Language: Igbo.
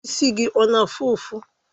Isi gị ọ na-afụ ụfụ?